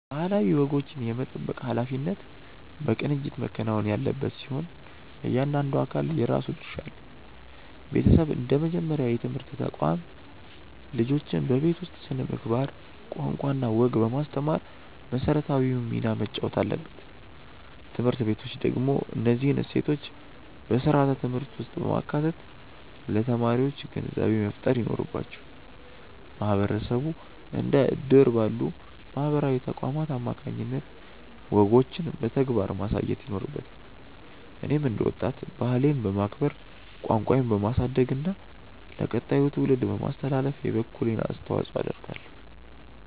ባህላዊ ወጎችን የመጠበቅ ኃላፊነት በቅንጅት መከናወን ያለበት ሲሆን፣ እያንዳንዱ አካል የራሱ ድርሻ አለው። ቤተሰብ እንደ መጀመሪያው የትምህርት ተቋም፣ ልጆችን በቤት ውስጥ ስነ-ምግባር፣ ቋንቋና ወግ በማስተማር መሰረታዊውን ሚና መጫወት አለበት። ትምህርት ቤቶች ደግሞ እነዚህን እሴቶች በስርዓተ-ትምህርት ውስጥ በማካተት ለተማሪዎች ግንዛቤ መፍጠር ይኖርባቸዋል። ማህበረሰቡ እንደ እድር ባሉ ማህበራዊ ተቋማት አማካኝነት ወጎችን በተግባር ማሳየት ይኖርበታል። እኔም እንደ ወጣት፣ ባህሌን በማክበር፣ ቋንቋዬን በማሳደግና ለቀጣዩ ትውልድ በማስተላለፍ የበኩሌን አስተዋጽኦ አደርጋለሁ።